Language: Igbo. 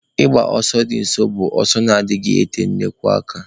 Ịgba ọsọ di nso bụ ọsọ na anaghị ete nnukwu aka.